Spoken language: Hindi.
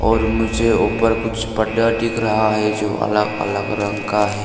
और मुझे ऊपर कुछ पर्दा दिख रहा है जो अलग अलग रंग का है।